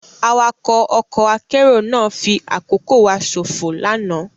Awakọ ọkọ akero náa fi akoko wa sofo lana